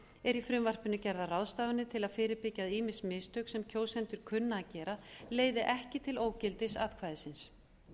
eru í frumvarpinu gerðar ráðstafanir til að fyrirbyggja að ýmis mistök sem kjósendur kunna að gera leiði ekki til ógildis atkvæðisins